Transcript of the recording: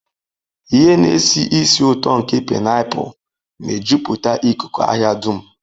Ihe na-esi ísì ụtọ nke painapulu na-ejupụta ikuku ahịa dum.